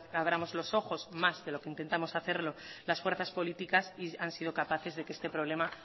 abramos los ojos más de lo que intentamos hacer las fuerzas políticas y han sido capaces de que este problema